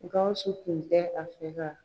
Gawusu kun tɛ a fɛ ka